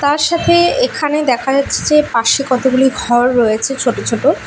তার সাথে এখানে দেখা যাচ্ছে পাশে কতগুলো ঘর রয়েছে ছোট ছোট।